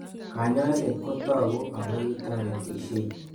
Kanyaiset ko tag'u ako kitaretishei